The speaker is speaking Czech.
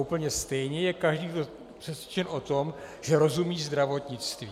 Úplně stejně je každý přesvědčen o tom, že rozumí zdravotnictví.